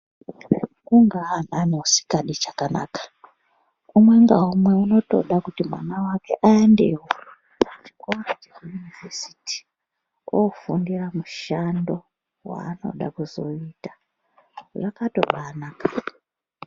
Kungaa nani usingadi chakanaka umwe naumwe unotoda kuti mwana wake aendewo pachikora cheyunivhesiti ofundira mushando waanoda kuzoita zvakatobatonaka.